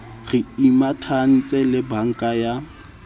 re imatahantse le banka ya